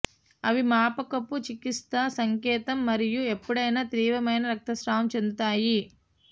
అవి మాపకపు చికిత్సా సంకేతం మరియు ఎప్పుడైనా తీవ్రమైన రక్త స్రావం చెందుతాయి